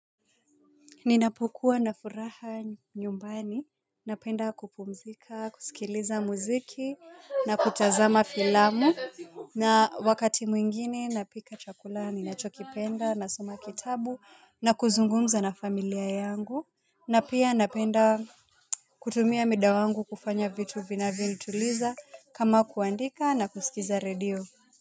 Ninapokua na furaha nyumbani napenda kupumzika, kusikiliza muziki na kutazama filamu na wakati mwingine napika chakula ninachokipenda nasoma kitabu na kuzungumza na familia yangu na pia napenda kutumia mida wangu kufanya vitu vinavyonituliza kama kuandika na kusikiza redio.